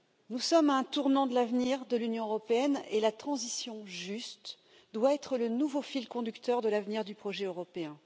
Nous sommes à un tournant de l'avenir de l'Union européenne et la transition juste doit être le nouveau fil conducteur de l'avenir du projet européen.